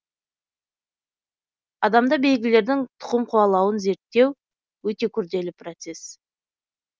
адамда белгілердің тұқым қуалауын зерттеу өте күрделі процесс